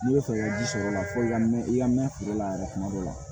N'i bɛ fɛ i ka ji sɔrɔ o la fo ka mɛ i ka mɛ feere la yɛrɛ kuma dɔ la